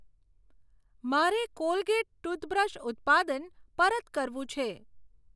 મારે Colgate toothbrush ઉત્પાદન પરત કરવું છે.